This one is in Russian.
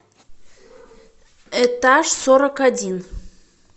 этаж сорок один